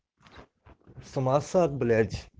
самоосад блять